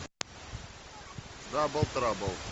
дабл трабл